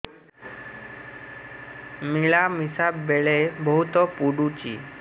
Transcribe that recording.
ମିଳାମିଶା ବେଳେ ବହୁତ ପୁଡୁଚି